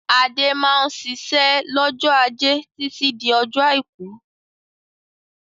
Adé máa ń ṣiṣẹ́ lọ́jọ́ ajé títí di ọjọ́ àìkú.